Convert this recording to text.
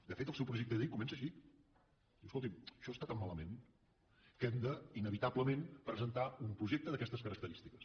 de fet el seu projecte de llei comença així diu escolti’m això està tan malament que hem de inevitablement presentar un projecte d’aquestes característiques